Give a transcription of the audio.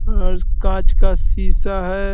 और काँच का शीशा है।